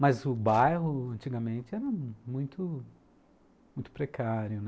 Mas o bairro, antigamente, era muito muito precário, né.